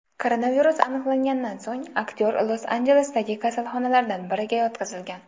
Koronavirus aniqlanganidan so‘ng aktyor Los-Anjelesdagi kasalxonalardan biriga yotqizilgan.